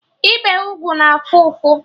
Ịbe ugwu na afụ ụfụ